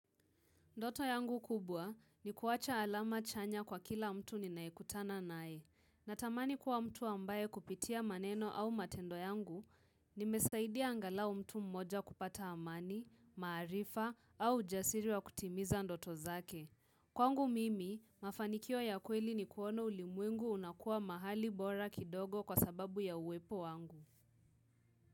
Ndoto yangu kubwa ni kuwacha alama chanya kwa kila mtu ninayekutana naye. Natamani kuwa mtu ambaye kupitia maneno au matendo yangu, nimesaidia angalao mtu mmoja kupata amani, maarifa au ujasiri wa kutimiza ndoto zake. Kwangu mimi, mafanikio ya kweli ni kuona ulimwengu unakuwa mahali bora kidogo kwa sababu ya uwepo wangu.